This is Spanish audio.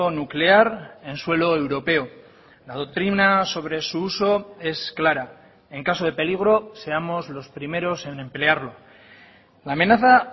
nuclear en suelo europeo la doctrina sobre su uso es clara en caso de peligro seamos los primeros en emplearlo la amenaza